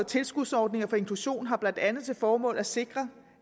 tilskudsordninger for inklusion har blandt andet til formål at sikre